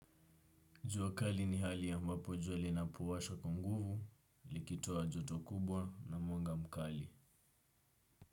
Jua kali ni hali ambapo jua li na powasha kwa nguvu, likitoa joto kubwa na mwanga mkali.